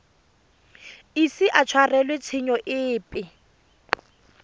ise a tshwarelwe tshenyo epe